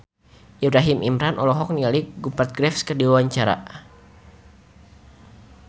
Ibrahim Imran olohok ningali Rupert Graves keur diwawancara